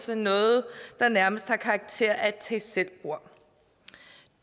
ved noget der nærmest har karakter af et tag selv bord